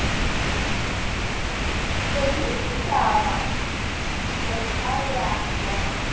pelindaba o ka ya wa